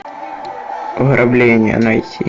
ограбление найти